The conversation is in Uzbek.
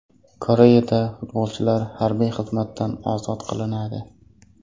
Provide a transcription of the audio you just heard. Koreyada futbolchilar harbiy xizmatdan ozod qilinadi.